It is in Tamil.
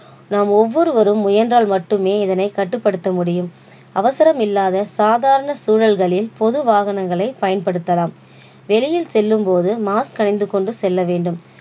நாம் ஒவ்வொருவரும் முயன்றால் மட்டுமே இதனை கட்டுப்படுத்த முடியும். அவசரம் இல்லாத சாதாரண சூழல்களில் பொதுவாகங்களை பயன்படுத்தலாம் வெளியில் செல்லும் பொழுது mask அணிந்து கொண்டு செல்ல வேண்டும்.